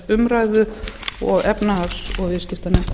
umræðu og efnahags og viðskiptanefndar